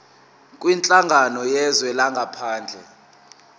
kwinhlangano yezwe langaphandle